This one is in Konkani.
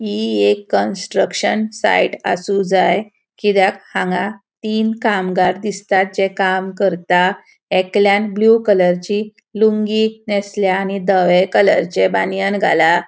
ही एक कन्स्ट्रक्शन साइट आसू जाए कित्याक हांगा तीन कामगार दिसतात जे काम करता एकल्यान ब्लू कलरची लूँगी नेसल्या आणि धवे कलरचे बानियान घाला.